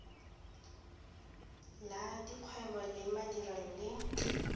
la dikgwebo le madirelo le